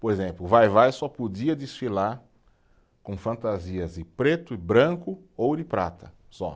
Por exemplo, o Vai-Vai só podia desfilar com fantasias de preto e branco, ouro e prata, só.